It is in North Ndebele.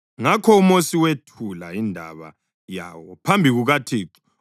Ngakho uMosi wethula indaba yawo phambi kukaThixo,